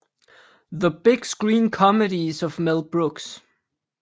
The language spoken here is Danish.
The Big Screen Comedies of Mel Brooks